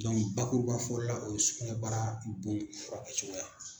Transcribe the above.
bakubafɔ la o ye sukunɛbara bon furakɛ cogoya.